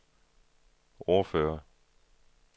ordfører